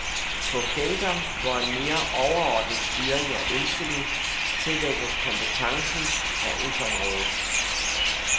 På felter, hvor en mere overordnet styring er ønskelig, tillægges kompetencen handelsområdet.